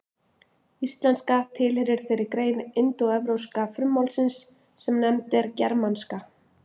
Íslenska tilheyrir þeirri grein indóevrópska frummálsins sem nefnd er germanska.